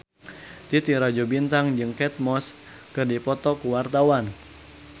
Titi Rajo Bintang jeung Kate Moss keur dipoto ku wartawan